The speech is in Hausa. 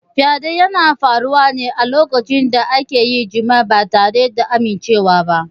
Fyaɗe yana faruwa ne lokacin da akayi jima'i ba tare da amimcewa ba.